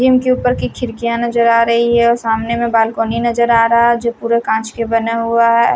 Gym के ऊपर की खिड़कियां नजर आ रही है और सामने में बालकनी नजर आ रहा है जो पूरा कांच के बना हुआ है।